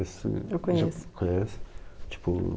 Eu conheço. Conhece? Tipo